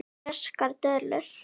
Ferskar döðlur